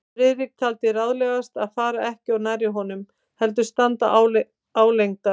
Friðrik taldi ráðlegast að fara ekki of nærri honum, heldur standa álengdar.